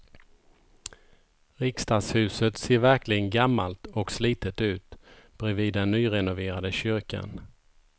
Riksdagshuset ser verkligen gammalt och slitet ut bredvid den nyrenoverade kyrkan.